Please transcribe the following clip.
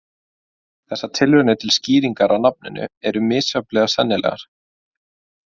Þessar tilraunir til skýringar á nafninu eru misjafnlega sennilegar.